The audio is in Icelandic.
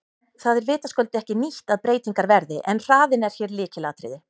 Það er vitaskuld ekki nýtt að breytingar verði en hraðinn er hér lykilatriði.